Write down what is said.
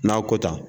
N'a ko ta